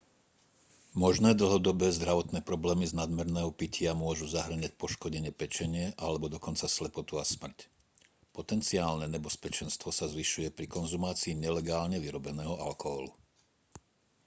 možné dlhodobé zdravotné problémy z nadmerného pitia môžu zahŕňať poškodenie pečene alebo dokonca slepotu a smrť potenciálne nebezpečenstvo sa zvyšuje pri konzumácii nelegálne vyrobeného alkoholu